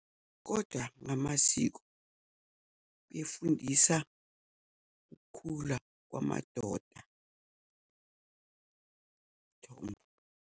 Kodwa ngamasiko kufundisa ukukhula kwamadoda, ukuthomba.